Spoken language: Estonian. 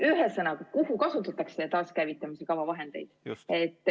Ühesõnaga, milleks kasutatakse taaskäivitamise kava vahendeid?